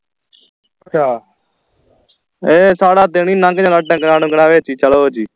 ਇਹ ਸਾਰਾ ਦਿਨ ਹੀ ਨੰਗ ਜਾਂਦਾ ਢੰਗਰਾਂ ਢੁਗਰਾਂ ਵਿਚ ਹੀ ਚਲੋ ਜੀ